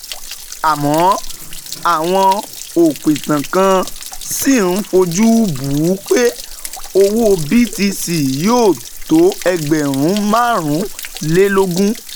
àmọ́, àwọn òpìtàn kan ṣì ń fojú bù ú pé owó BTC yóò tó ẹgbẹ̀rún márùnlélógún